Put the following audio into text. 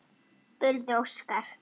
spurði Óskar.